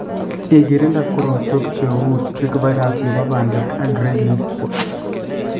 igirinda korotwek che uu streak virus ne bo bandek ak gray leaf spot